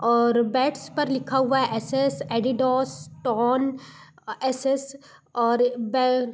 और बैट्स पर लिखा हुआ SS Adidas tone S S और बै--